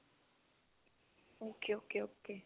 okay okay okay